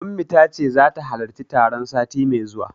Ummi tace zata halarci taron sati mai zuwa.